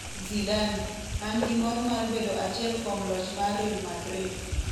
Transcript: Zidane: An gi mor mar bedo achiel kuom loch mar Real Madrid